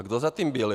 A kdo za tím byl?